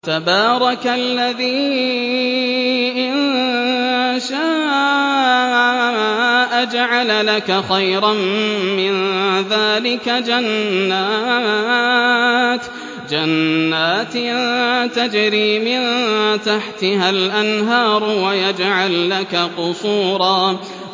تَبَارَكَ الَّذِي إِن شَاءَ جَعَلَ لَكَ خَيْرًا مِّن ذَٰلِكَ جَنَّاتٍ تَجْرِي مِن تَحْتِهَا الْأَنْهَارُ وَيَجْعَل لَّكَ قُصُورًا